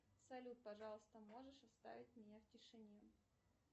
салют пожалуйста можешь оставить меня в тишине